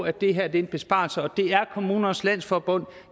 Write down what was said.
at det her er en besparelse og det er kommunernes landsforening